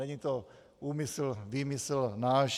Není to úmysl, výmysl náš.